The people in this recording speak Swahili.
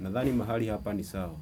Nadhani mahali hapa ni sawa.